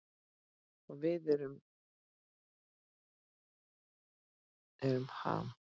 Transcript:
Og við erum Ham.